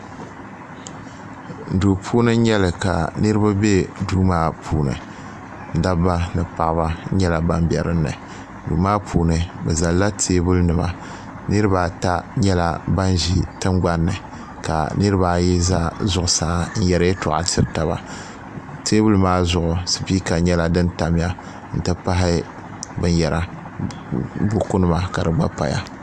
Duu puuni n nyɛli ka niriba be duu maa puuni dabba ni paɣaba nyɛla ban be dinni duu maa puuni bɛ zalila teebuli nima niriba ata nyɛla ban ʒi tingbani ka niriba ayi za zuɣusaa n yeri yeltɔɣa n tiri taba teebuli maa zuɣu sipiika nyɛka din tamya n ti pahi binyera buku nima ka di gba paya.